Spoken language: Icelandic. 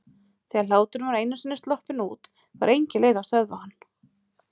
Þegar hláturinn var einu sinni sloppinn út var engin leið að stöðva hann.